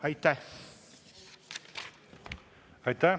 Aitäh!